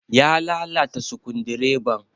Ya lalata sukundireban.